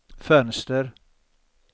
fönster